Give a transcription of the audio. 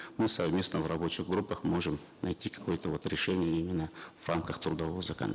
мы совместно в рабочих группах можем найти какое то вот решение именно в рамках трудового